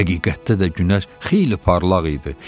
Həqiqətdə də günəş xeyli parlaq idi.